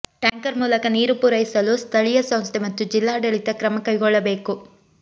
tanker ಮೂಲಕ ನೀರು ಪೂರೈಸಲು ಸ್ಥಳೀಯ ಸಂಸ್ಥೆ ಮತ್ತು ಜಿಲ್ಲಾಡಳಿತ ಕ್ರಮ ಕೈಗೊಳ್ಳಬೇಕು